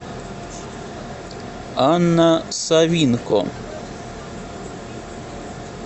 анна савинко